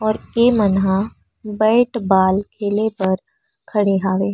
और ए मन ह बैट बॉल खेले बर खड़े हावे।